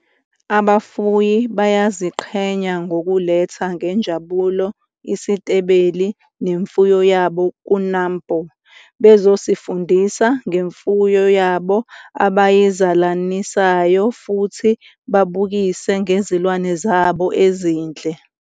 Abafuyi bayaziqhenya ngokuletha ngenjabulo isitebeli nemfuyo yabo ku-NAMPO bezosifundisa ngemfuyo yabo abayizalanisayo futhi babukise ngezilwane zabo ezinhle.